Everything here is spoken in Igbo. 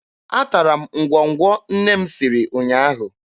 Atara m ngwọngwọ nne m siri ụnyaahụ.